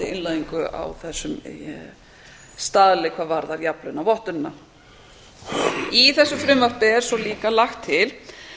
innleiðingu á þessum staðli hvað varðar jafnlaunavottunina í þessu frumvarpi er svo líka lagt til